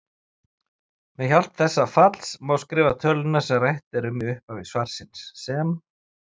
Með hjálp þessa falls má skrifa töluna sem rætt er um í upphafi svarsins sem